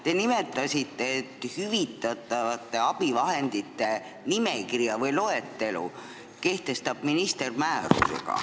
Te nimetasite, et hüvitatavate abivahendite nimekirja või loetelu kehtestab minister määrusega.